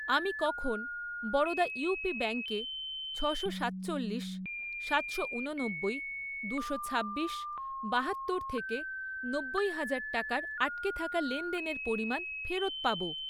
আমি কখন বরোদা ইউপি ব্যাঙ্কে ছশো সাতচল্লিশ, সাতশ ঊননব্বই, দুশো ছাব্বিশ, বাহাত্তর থেকে নব্বই হাজার টাকার আটকে থাকা লেনদেনের পরিমাণ ফেরত পাব?